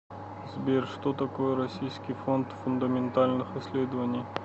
сбер что такое российский фонд фундаментальных исследований